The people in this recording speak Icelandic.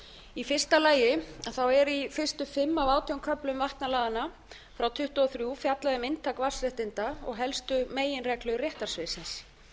í fyrsta lagi er í fyrstu fimm af átján köflum vatnalaganna frá nítján hundruð tuttugu og þrjú fjallað um inntak vatnsréttinda og helstu meginreglur réttarsviðsins